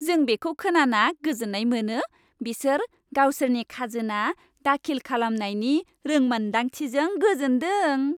जों बेखौ खोनाना गोजोन्नाय मोनो बिसोर गावसोरनि खाजोना दाखिल खालामनायनि रोंमोन्दांथिजों गोजोनदों।